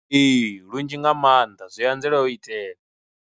Ee, lunzhi nga maanḓa zwi anzela u itea.